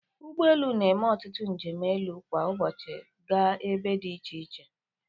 Ụgbọ elu na-eme ọtutu njem elu kwa ụbọchị gaa ebe dị iche iche.